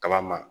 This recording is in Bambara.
Kala ma